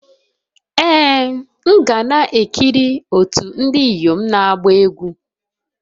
Ee m ga na-ekiri otu ndị inyom na-agba egwu.